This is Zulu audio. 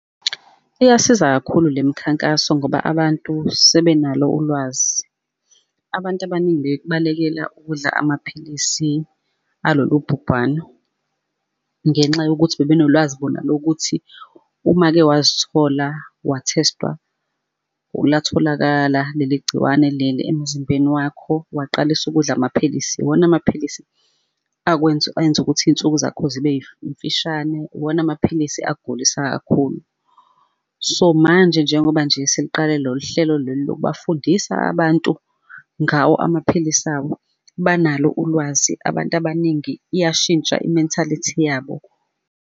Iyasiza kakhulu le mikhankaso ngoba abantu sebenalo ulwazi. Abantu abaningi bebekbalekela ukudla amaphilisi alolu bhubhano, ngenxa yokuthi bebenolwazi bona lokuthi uma-ke wazithola wa-taste-wa latholakala leli gciwane leli emzimbeni wakho, waqalisa ukudla amaphilisi, iwona amaphilisi akwenza enza ukuthi iy'nsuku zakho zibe mfishane iwona amapilisi akgulisa kakhulu. So manje, njengoba nje sekqale lolu hlelo lolu lokubafundisa abantu ngawo amaphilisi awo, banalo ulwazi abantu abaningi iyashintsha i-mentality yabo.